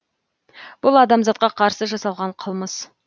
бұл адамзатқа қарсы жасалған қылмыс